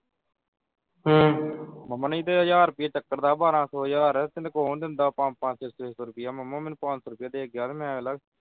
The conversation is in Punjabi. ਮਾਮਾ ਨਹੀਂ ਤੇ ਹਜਾਰ ਰੁਪਿਆ ਚੱਕਰ ਦਾ ਬਾਰਾਂ ਸੌ ਹਜਾਰ ਤੈਨੂੰ ਕੌਣ ਦਿੰਦਾ ਪੰਜ ਪੰਜ ਛੇ ਛੇ ਸੌ ਰੁਪਿਆ ਮਾਮਾ ਮੈਨੂੰ ਪੰਜ ਸੌ ਰੁਪਿਆ ਦੇ ਕੇ ਗਿਆ ਤੇ ਮੈਂ ਵੇਖ ਲਾ।